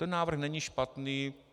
Ten návrh není špatný.